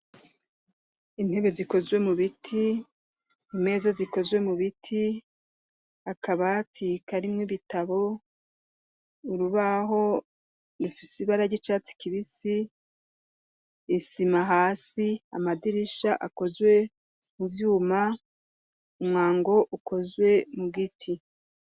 Intebe zikozwe mu biti, imeza zikozwe mu biti, akabati karimwo ibitabo, urubaho rifise ibara ry'icatsi kibisi, isima hasi, amadirisha akozwe mu vyuma, umwango ukozwe mu giti.